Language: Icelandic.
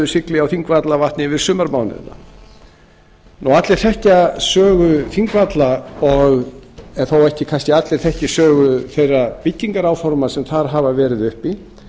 sigli á þingvallavatni yfir sumartímann allir þekkja sögu þingvalla en þó þekkja kannski ekki allir sögu þeirra byggingaráforma sem þar hafa verið uppi